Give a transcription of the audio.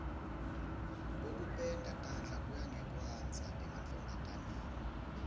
kokupenda tandla kuya ngekwandza emantfombataneni